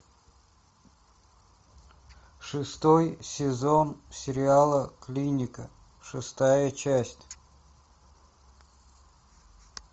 шестой сезон сериала клиника шестая часть